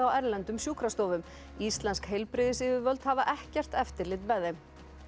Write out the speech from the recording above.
á erlendum sjúkrastofum íslensk heilbrigðisyfirvöld hafa ekkert eftirlit með þeim